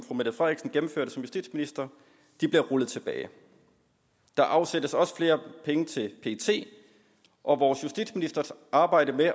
justitsminister bliver rullet tilbage der afsættes også flere penge til pet og vores justitsministers arbejde med